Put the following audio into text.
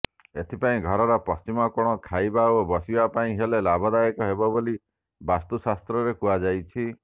ଏଥିପାଇଁ ଘରର ପଶ୍ଚିମ କୋଣ ଖାଇବା ଓ ବସିବା ପାଇଁ ହେଲେ ଲାଭଦାୟକ ହେବ ବୋଲି ବାସ୍ତୁଶାସ୍ତ୍ରରେ କୁହାଯାଇଛି